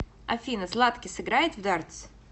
афина златкис играет в дартс